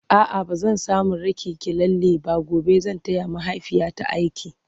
a'a bazan samu raki ki lalle ba gobe zan taya mahaifiyata aiki